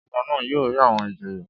Ọba náà yóò rí àwọn ìjòyè.